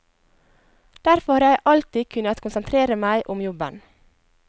Derfor har jeg alltid kunnet konsentrere meg om jobben.